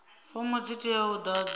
fomo dzi teaho u ḓadzwa